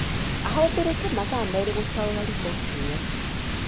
Aahũthĩrire mathaa merĩ gũtaũra riboti ĩyo.